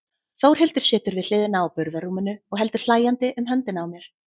Þórhildur situr við hliðina á burðarrúminu og heldur hlæjandi um höndina á mér.